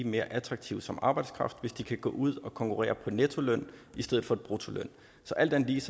mere attraktive som arbejdskraft hvis de kan gå ud og konkurrere på nettoløn i stedet for bruttoløn så alt andet lige